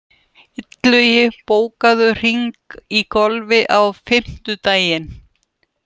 Illugi, bókaðu hring í golf á fimmtudaginn.